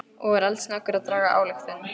Og er eldsnöggur að draga ályktun.